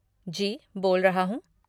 जी बोल रहा हूँ।